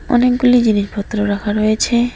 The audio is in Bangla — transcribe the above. অনেকগুলি জিনিসপত্র রাখা রয়েছে।